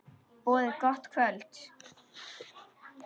Boðið gott kvöld.